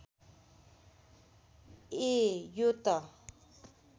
ए यो त